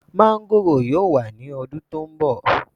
Máńgòrò yóò wá ní ọdún tó ń bọ̀.